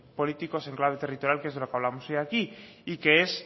políticos en clave territorial que es de lo que hablamos hoy aquí y que es